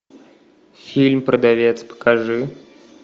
фильм продавец покажи